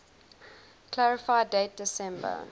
clarify date december